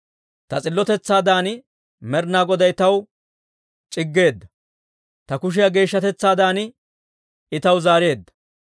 «Ta s'illotetsaadan Med'inaa Goday taw c'iggeedda; Ta kushiyaa geeshshatetsaadan I taw zaareedda.